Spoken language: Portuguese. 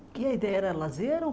E a ideia era lazer ou